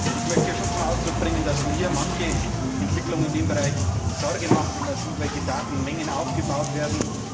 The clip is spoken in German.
Ich möchte zum Ausdruck bringen, dass mir manche Entwicklung in diesem Bereich Sorge macht, wenn man sieht, welche Datenmengen aufgebaut werden.